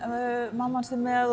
mamma hans er með